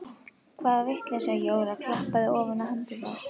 Hvaða vitleysa Jóra klappaði ofan á hendurnar.